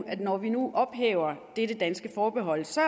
at når vi nu ophæver dette danske forbehold så